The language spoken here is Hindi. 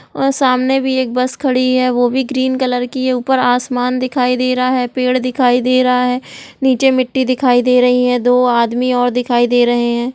और सामने भी एक बस खड़ी है वो भी ग्रीन कलर की है। ऊपर आसमान दिखाई दे रहा है पेड़ दिखाई दे रहा ह नीचे मिट्टी दिखाई दे रही है दो आदमी और दिखाई दे रहे हैं।